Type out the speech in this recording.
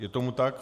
Je tomu tak.